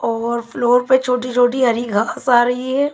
और फ्लोर पे छोटी छोटी हरी घास आ रही है।